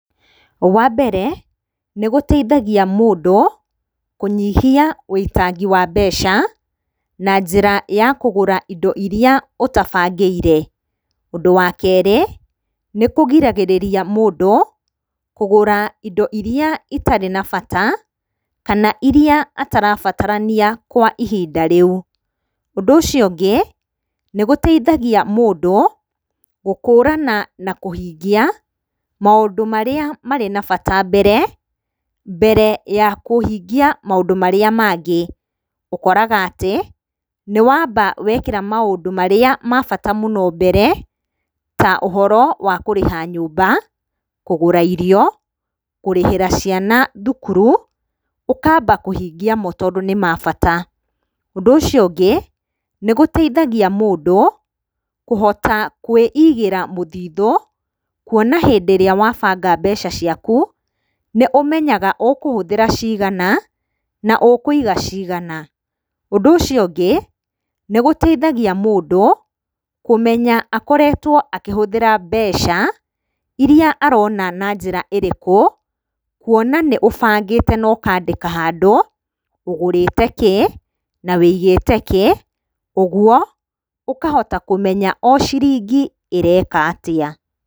Wa mbere, nĩgũteithagia mũndũ kũnyihia wũitangi wa mbeca na njĩra ya kũgũra indo iria ũtabangĩire. Ũndũ wa kerĩ, nĩkũgiragĩrĩria mũndũ kũgũra indo irĩa itarĩ na bata, kana irĩa atarabatarania kwa ihinda rĩu. Ũndũ ũcio ũngĩ, nĩgũteithagia mũndũ gũkũrana na kũhingia maũndũ marĩa marĩ na bata mbere, mbere ya kũhingia maũndũ marĩa mangĩ. Ũkoraga atĩ nĩwamba wekĩra maũndũ marĩa ma bata mũno mbere, ta ũhoro wa kũrĩha nyũmba, kũgũra irio, kũrĩhĩra ciana thukuru, ũkamba kũhingia mo tondũ nĩ mabata. Ũndũ ũcio ũngĩ, nĩgũteithagia mũndũ kũhota kwĩigĩra mũthithũ, kuona atĩ rĩrĩa wabanga mbeca ciaku, nĩũmenyaga ũkũhũthĩra cigana na ũkũiga cigana. Ũndũ ũcio ũngũ, nĩgũteithagia mũndũ kũmenya akoretwo akĩhũthĩra mbeca irĩa arona na njĩra ĩrĩkũ, kuona nĩ ũbangĩte na ũkandĩka handũ, ũgũrĩte kĩ, na wigĩte kĩ, koguo ũkahotakũmenya o ciringi ĩreka atĩa.